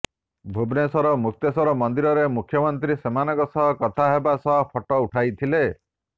ଭୁବନେଶ୍ୱର ମୁକ୍ତେଶ୍ୱର ମନ୍ଦିରରେ ମୁଖ୍ୟମନ୍ତ୍ରୀ ସେମାନଙ୍କ ସହ କଥା ହେବା ସହ ଫଟୋ ଉଠାଇଥିଲେ